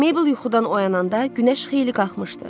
Maybel yuxudan oyananda günəş xeyli qalxmışdı.